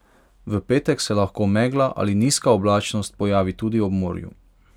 V petek se lahko megla ali nizka oblačnost pojavi tudi ob morju.